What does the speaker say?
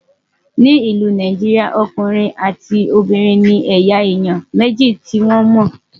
ní ìlú Nàìjíríà, ọkùnrin àti Obìnrin ní eya èyán méjì tí wọn mó